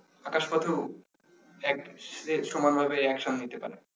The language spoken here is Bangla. আকাশ পথেও এক সমানভাবে action নিতে পারে।